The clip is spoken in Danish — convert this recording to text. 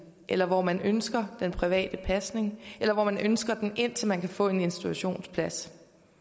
eller hvor man ønsker den private pasning eller hvor man ønsker den indtil man kan få en institutionsplads